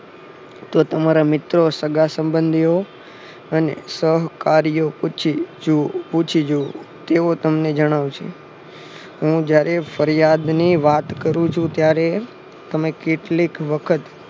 તો તમારા મિત્રો સગાસંબંધીઓ અને સહકાર્યો પૂછી જુવો તેઓ તમને જણાવશે હું જયારે ફરિયાદની વાત કરું છું ત્યારે તમે કેટલીક વખત